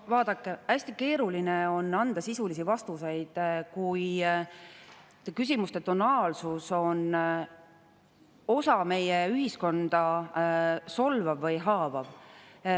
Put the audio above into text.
No vaadake, hästi keeruline on anda sisulisi vastuseid, kui küsimuste tonaalsus on osa meie ühiskonda solvav või haavav.